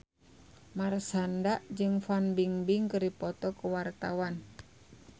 Marshanda jeung Fan Bingbing keur dipoto ku wartawan